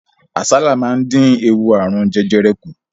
Àsálà máa dín ewu ààrùn jẹjẹrẹ kù.